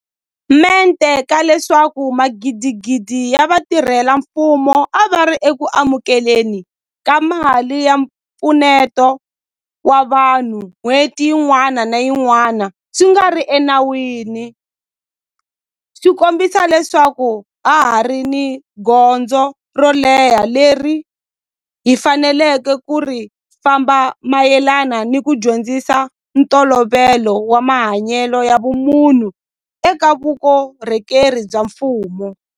Mente ka leswaku magidigidi ya vatirhela mfumo a va ri eku amukele ni ka mali ya mpfuneto wa vanhu n'hweti yin'wana ni yin'wana swi nga ri enawini swi kombisa leswaku ha ha ri ni gondzo ro leha leri hi faneleke ku ri famba mayelana ni ku dyondzisa ntolovelo wa mahanyelo ya vumunhu eka vukorhokeri bya mfumo.